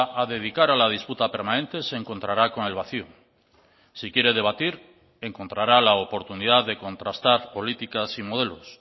a dedicar a la disputa permanente se encontrará con el vacío si quiere debatir encontrará la oportunidad de contrastar políticas y modelos